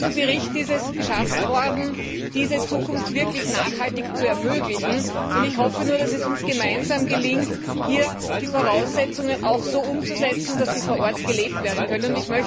In diesem Bericht sind die Voraussetzungen dafür geschaffen worden, diese Zukunft wirklich nachhaltig zu ermöglichen, und ich hoffe nur, dass es uns gemeinsam gelingt, hier die Voraussetzungen so umzusetzen, dass sie vor Ort gelebt werden können.